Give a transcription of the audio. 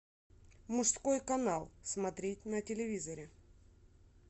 мужской канал смотреть на телевизоре